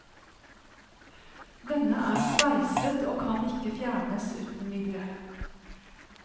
Denne er sveiset og kan ikke fjernes uten videre.